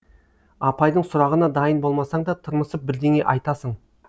апайдың сұрағына дайын болмасаң да тырмысып бірдеңе айтасың